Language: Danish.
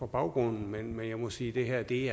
baggrunden men jeg må sige at det